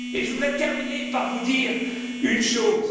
Et je voudrais terminer en vous disant une chose.